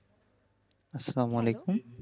আসসালামু আলাইকুম